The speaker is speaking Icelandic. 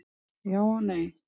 Já og nei.